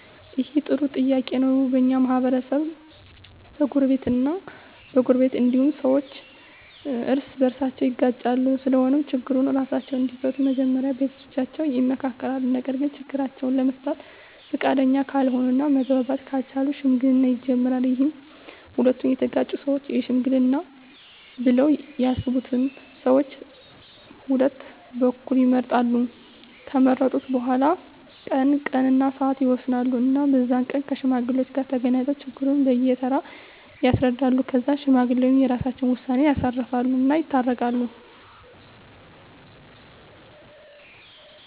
ይህ በጣም ጥሩ ጥያቄ ነው በኛ ማህበረሰብ በጎረቤት እ በጎረቤት እንዲሁም ሠዎች እርስ በርሳቸው ይጋጫሉ ስለሆነም ችግሩን እራሳቸው እንዲፈቱ መጀመሪያ ቤተሠቦቻቸው ይመከራሉ ነገርግ ችግራቸውን ለመፍታት ፈቃደኛ ካልሆነ እና መግባባት ካልቻሉ ሽምግልና ይጀመራል ይህም ሁለቱ የተጋጩ ሠወች ይሽመግሉናል ብለው ያሠቡትን ሠዎች ቀሁለቱ በኩል ይመርጣሉ ከመረጡ በኋላ ቀን እና ስዓት ይወስኑ እና በዛ ቀን ከሽማግሌዎች ጋር ተገናኝተው ችግሩን በየ ተራ ያስረዳሉ ከዛ ሽማግሌዎች የራሰቸውን ውሳኔ ያሳርፉ እና ይታረቃሉ